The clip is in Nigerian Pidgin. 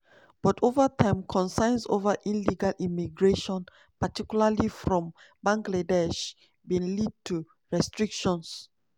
but ova time concerns ova illegal immigration particularly from bangladesh bin lead to restrictions.